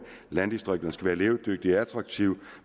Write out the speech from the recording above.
landdistrikterne skal være levedygtige og attraktive